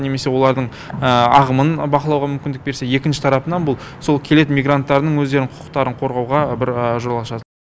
немесе олардың ағымын бақылауға мүмкіндік берсе екінші тарапынан бұл сол келетін мигранттардың өздерінің құқықтарын қорғауға бір жол ашады